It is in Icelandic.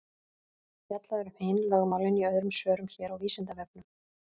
Fjallað er um hin lögmálin í öðrum svörum hér á Vísindavefnum.